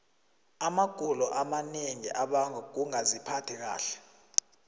amagulo amanengi abangwa kungaziphathi kahle